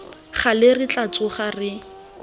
gale re tla tsoga re